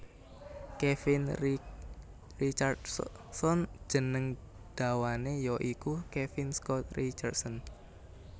Kevin Richardson jeneng dawané ya iku Kevin Scott Richardson